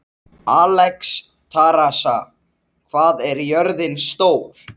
Alexstrasa, hvað er jörðin stór?